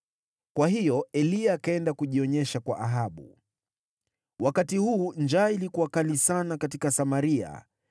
Kwa hiyo Eliya akaenda kujionyesha kwa Ahabu. Wakati huu njaa ilikuwa kali sana katika Samaria,